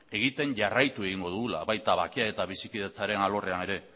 egiten jarraitu egingo dugula baita bakea eta bizikidetzaren alorrean ere